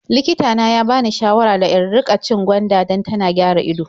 Likita na ya bani shawara da in riƙa cin gwanda dan tana gyara ido.